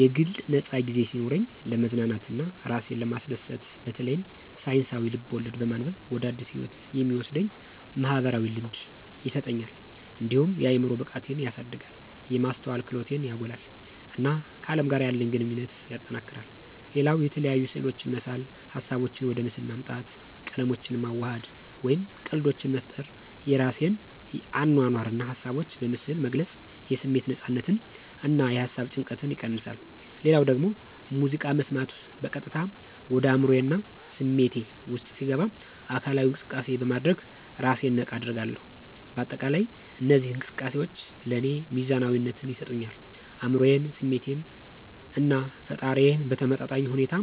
የግል ነፃ ጊዜ ሲኖረኝ፣ ለመዝናናት እና እራሴን ለማስደሰት በተለይም ሳይንሳዊ ልብ-ወለድ በማንበብ ወደ አዲስ ህይወት የሚወስደኝ "ማኅበራዊ ልምድ" ይሰጠኛል። እንዲሁም የአዕምሮ ብቃቴን ያሳድጋል፣ የማስተዋል ክህሎቴን ያጎላል፣ እና ከአለም ጋር ያለኝ ግንኙነት ያጠናክራል። ሌላው የተለያዩ ስዕሎችን መሳል ሀሳቦቼን ወደ ምስል ማምጣት፣ ቀለሞችን ማዋሃድ፣ ወይም ቀልዶችን መፍጠር የራሴን አኗኗር እና ሀሳቦች በምስል መግለጽ የስሜት ነፃነትን እና የሃሳብ ጭንቀትን ይቀንሳ። ሌላው ደግሞ ሙዚቃ መስማት በቀጥታ ወደ አዕምሮዬ እና ስሜቴ ውስጥ ሲገባ አካላዊ እንቅሰቃሴ በማድረግ እራሴን ነቃ አደርጋለሁ። በአጠቃላይ እነዚህ እንቅስቃሴዎች ለእኔ ሚዛናዊነትን ይሰጡኛል አዕምሮዬን፣ ስሜቴን እና ፈጠራዬን በተመጣጣኝ ሁኔታ